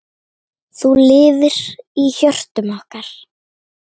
Þú lifir í hjörtum okkar.